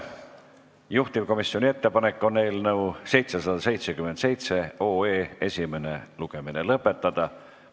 Juhtivkomisjoni ettepanek on eelnõu 777 esimene lugemine lõpetada.